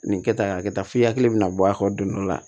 Nin kɛta nin kɛ tan f'i hakili bɛna bɔ a kɔ don dɔ la